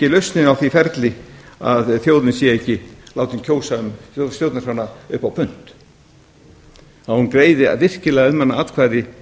lausnin á því ferli að þjóðin sé látin kjósa um stjórnarskrána upp á punt að hún greiði virkilega um hana atkvæði